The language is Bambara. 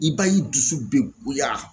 I b'a y'i dusu be goya